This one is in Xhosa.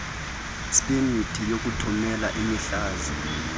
sepemithi yokuthumela iintlanzi